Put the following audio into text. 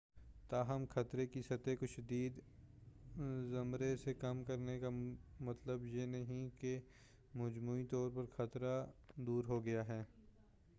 تاہم خطرے کی سطح کو شدید زمرے سے کم کرنے کا مطلب یہ نہیں ہے کہ مجموعی طور پر خطرہ دور ہو گیا ہے